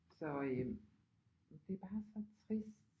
Så øh det er bare så trist